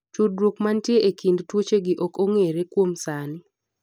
tudruod manitie e kind tuochegi ok ong'ere kuom sani